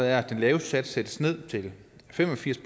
er at den laveste skat sættes ned til fem og firs